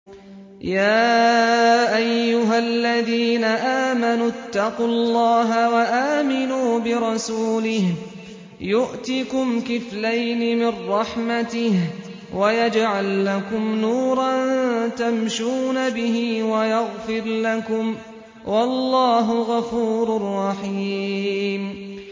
يَا أَيُّهَا الَّذِينَ آمَنُوا اتَّقُوا اللَّهَ وَآمِنُوا بِرَسُولِهِ يُؤْتِكُمْ كِفْلَيْنِ مِن رَّحْمَتِهِ وَيَجْعَل لَّكُمْ نُورًا تَمْشُونَ بِهِ وَيَغْفِرْ لَكُمْ ۚ وَاللَّهُ غَفُورٌ رَّحِيمٌ